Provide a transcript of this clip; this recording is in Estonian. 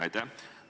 Aitäh!